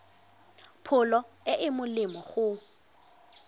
pholo e e molemo go